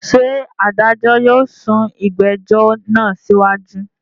Ṣé adájọ́ yóò sún ìgbẹ́jọ́ náà síwájú?